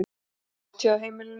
Hátíð á heimilinu